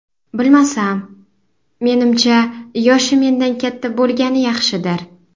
Bilmasam... Menimcha, yoshi mendan katta bo‘lgani yaxshidir.